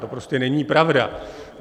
To prostě není pravda!